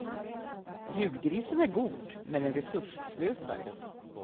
Julgrisen är god men en resursslösare.